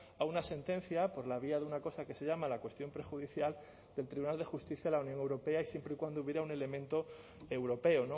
a una sentencia por la vía de una cosa que se llama la cuestión prejudicial del tribunal de justicia de la unión europea y siempre y cuando hubiera un elemento europeo